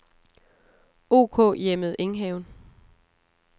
OK-Hjemmet Enghaven